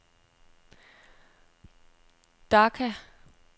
Dhaka